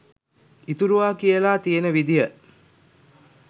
ඉතුරුවා කියලා තියෙන විදිහ